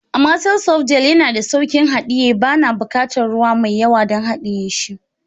Amatel soft gel yana da sauƙin haɗiye, bana buƙatar ruwa mai yawa don haɗiye shi.